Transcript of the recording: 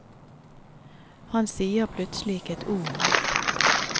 Han sier plutselig ikke et ord mer.